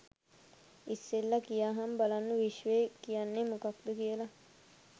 ඉස්සෙල්ලා කියහං බලන්න විශ්වය කියන්නේ මොකක්ද කියලා